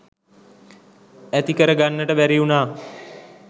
ඇති කරගන්නට බැරිවුණා.